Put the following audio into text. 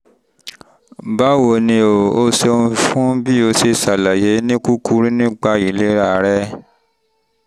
báwo ni o? o ṣeun fún bí o ṣe ṣàlàyé ní kúkúrú nípa ìlera rẹ